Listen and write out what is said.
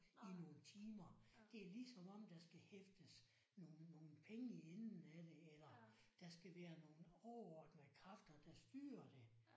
I nogle time det er lige som om der skal hæftes nogle nogle penge i enden af det eller der skal være nogle overordnede kræfter der styrer det